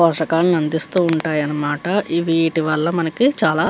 పోషకాన్ని అందిస్తూ ఉంటాయన్నమాట. వీటివల్ల మనకి చాలా --